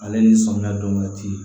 Ale ni samiya don waati